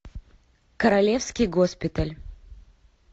королевский госпиталь